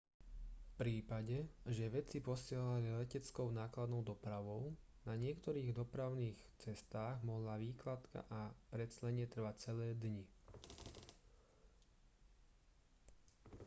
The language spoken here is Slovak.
v prípade že veci posielali leteckou nákladnou dopravou na niektorých dopravných cestách mohla vykládka a preclenie trvať celé dni